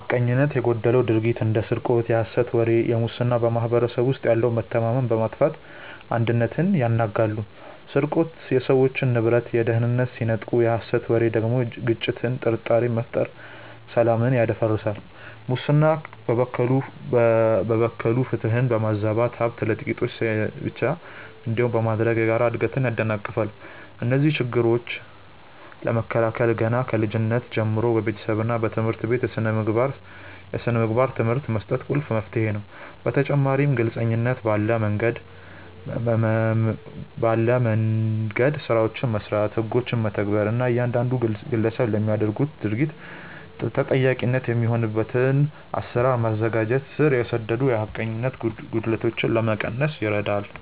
ሐቀኝነት የጎደለው ድርጊት እንደ ስርቆት፣ የሐሰት ወሬ እና ሙስና በማኅበረሰቡ ውስጥ ያለውን መተማመን በማጥፋት አንድነትን ያናጋሉ። ስርቆት የሰዎችን ንብረትና ደህንነት ሲነጥቅ፣ የሐሰት ወሬ ደግሞ ግጭትንና ጥርጣሬን በመፍጠር ሰላምን ያደፈርሳል። ሙስና በበኩሉ ፍትህን በማዛባትና ሀብት ለጥቂቶች ብቻ እንዲሆን በማድረግ የጋራ እድገትን ያደናቅፋል። እነዚህን ችግሮች ለመከላከል ገና ከልጅነት ጀምሮ በቤተሰብና በትምህርት ቤት የሥነ ምግባር ትምህርት መስጠት ቁልፍ መፍትሄ ነው። በተጨማሪም ግልጽነት ባለ መንደምገድ ስራዎችን መስራት፣ ህጎችን መተግበር እና እያንዳንዱ ግለሰብ ለሚያደርገው ድርጊት ተጠያቂ የሚሆንበትን አሰራር ማዘጋጀት ስር የሰደዱ የሐቀኝነት ጉድለቶችን ለመቀነስ ይረዳል።